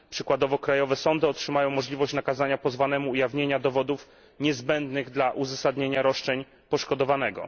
Przykładowo krajowe sądy otrzymają możliwość nakazania pozwanemu ujawnienia dowodów niezbędnych dla uzasadnienia roszczeń poszkodowanego.